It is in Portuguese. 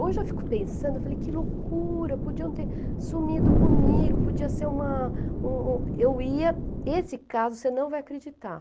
Hoje eu fico pensando, eu falei, que loucura, podiam ter sumido comigo, podia ser uma um um... Eu ia, esse caso você não vai acreditar.